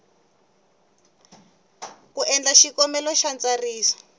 ku endla xikombelo xa ntsariso